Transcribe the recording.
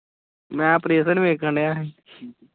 ਮੈਂ operation ਵੇਖਣ ਦਿਆ ਸੀ ।